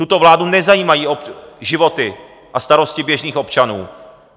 Tuto vládu nezajímají životy a starosti běžných občanů.